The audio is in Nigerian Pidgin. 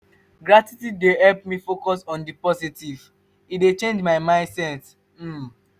gratitude dey help me focus on di positive; e dey change my mindset. um